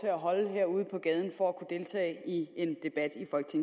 at holde her ude på gaden for at kunne deltage i en debat